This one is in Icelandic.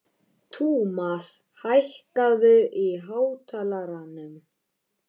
Tumas, hækkaðu í hátalaranum.